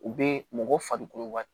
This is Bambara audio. U be mɔgɔ farikolo ka